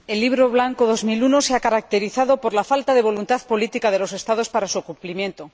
Señor Presidente, el Libro Blanco 2001 se ha caracterizado por la falta de voluntad política de los Estados para su cumplimiento.